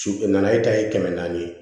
Su nana e ta ye kɛmɛ naani ye